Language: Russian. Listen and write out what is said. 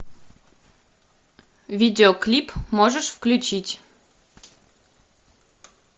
видеоклип можешь включить